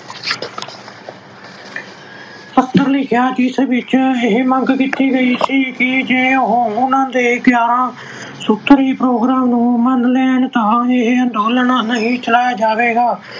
ਪੱਤਰ ਲਿਖਿਆ ਜਿਸ ਵਿੱਚ ਇਹ ਮੰਗ ਕੀਤੀ ਗਈ ਕਿ ਜੇ ਉਹ ਉਹਨਾਂ ਦੇ ਗਿਆਰਾਂ ਸੂਤਰੀ program ਨੂੰ ਮੰਨ ਲੈਣ ਤਾਂ ਇਹ ਅੰਦੋਲਨ ਨਹੀਂ ਚਲਾਇਆ ਜਾਵੇਗਾ।